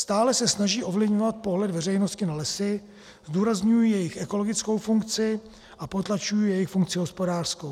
Stále se snaží ovlivňovat pohled veřejnosti na lesy, zdůrazňují jejich ekologickou funkci a potlačují jejich funkci hospodářskou.